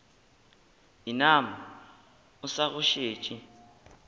inama o sa go šetše